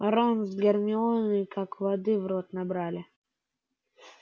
рон с гермионой как воды в рот набрали